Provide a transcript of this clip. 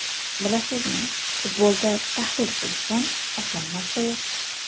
Bilasizmi, futbolda tahlil qilishdan oson narsa yo‘q.